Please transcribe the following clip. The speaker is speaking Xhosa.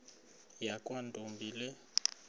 yakwantombi le nto